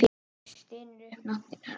Stynur upp nafninu hennar.